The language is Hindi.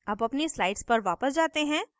अब अपनी slides पर वापस जाते हैं